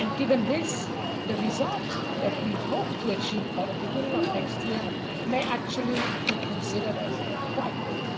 And given this, the result that we hope to achieve by the beginning of next year may actually be considered as quite good.